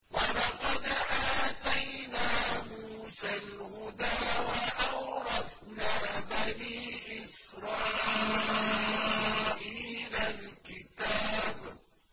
وَلَقَدْ آتَيْنَا مُوسَى الْهُدَىٰ وَأَوْرَثْنَا بَنِي إِسْرَائِيلَ الْكِتَابَ